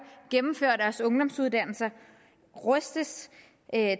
gennemfører en ungdomsuddannelse rustes